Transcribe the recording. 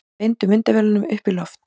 Beindu myndavélunum upp í loft